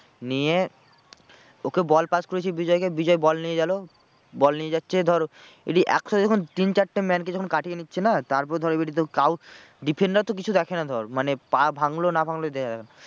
নিয়ে ওকে ball pass করেছি বিজয়কে বিজয় ball নিয়ে গেলো ball নিয়ে যাচ্ছে ধর একটু সাথে যখন তিন চারটে man কে যখন কাটিয়ে নিচ্ছে না তারপর ধর এবারে তো কারুর defender তো কিছু দেখে না ধর মানে পা ভাঙলো না ভাঙলো